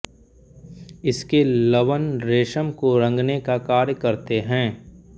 इसके लवण रेशम को रंगने का कार्य करते हैं